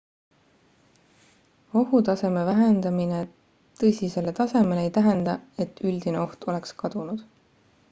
ohutaseme vähendamine tõsisele tasemele ei tähenda et üldine oht oleks kadunud